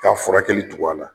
K 'a furakɛli tugu na la